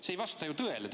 See ei vasta ju tõele!